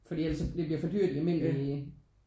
Fordi ellers så bliver det jo for dyrt i almindelige